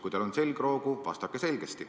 Kui teil on selgroogu, vastake selgesti.